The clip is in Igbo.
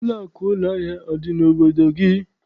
Ụlọakụ ụlọahịa adị n'obodo gị?